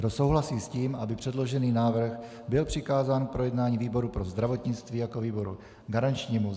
Kdo souhlasí s tím, aby předložený návrh byl přikázán k projednání výboru pro zdravotnictví jako výboru garančnímu?